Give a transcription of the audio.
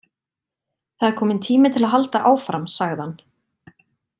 Það er kominn tími til að halda áfram sagði hann.